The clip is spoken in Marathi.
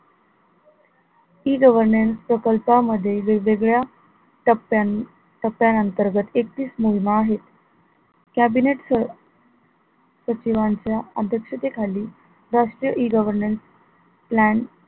E governance प्रकल्पामध्ये वेगवेगळ्या टप्प्यां टप्प्यानंतर्गत एकतीस मोहिमा आहे cabinet च सचिवांच्या अध्यक्षतेखाली राष्ट्रीय E governance plan